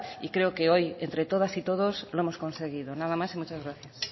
y creo que hoy entre todas y todos lo hemos conseguido nada más y muchas gracias